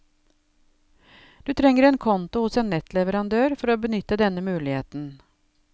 Du trenger en konto hos en nettleverandør for å benytte denne muligheten.